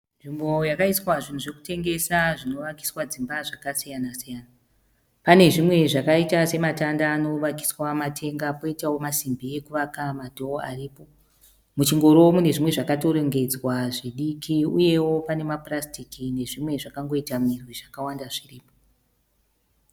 nzvimbo yakaiswa zvinhu zvekutengesa zvinovakiswa dzimba zvakasiyana -siyana pane zvimwe zvakaita sematanda anovakiswa matenga koitawo masimbi ekuvaka nemadhoo. Muchingoro mune zvimwe zvakarongedzwa zvidiki zvakaiita sema purasitiki nezvimwe zvakaita murwi